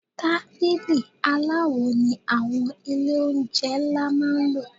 Tábìlì aláwo ni àwọn ilé oúnjẹ ńlá máa ń lò.